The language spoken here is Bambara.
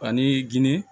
Ani ginde